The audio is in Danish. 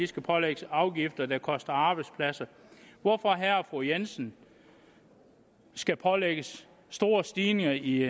skal pålægges afgifter der koster arbejdspladser hvorfor herre og fru jensen skal pålægges store stigninger i